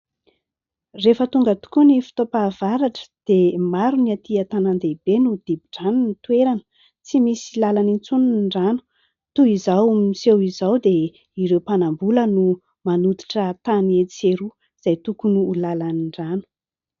Rehefa tonga tokoa ny fotoam-pahavaratra dia maro ny atỳ antanàn-dehibe no dibo-drano ny toerana, tsy misy lalana itsony ny rano. Toy izao miseho izao dia ireo mpanam-bola no manototra tany etsy sy eroa izay tokony ho lalan'ny rano.